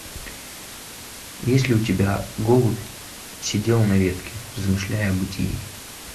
есть ли у тебя голубь сидел на ветке размышляя о бытии